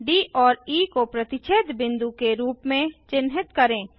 D और E को प्रतिच्छेद बिंदु के रूप में चिन्हित करें